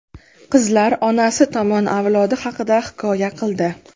Qizlar onasi tomoni avlodi haqida hikoya qildi.